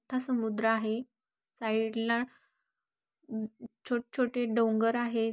मोठा समुद्र आहे. साइडला छोट छोटे डोंगर आहे.